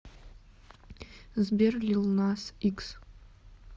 сбер лил нас икс